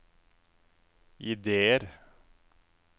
ideer